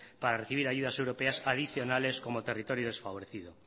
para recibir ayudas europeas adicionales como territorio desfavorecido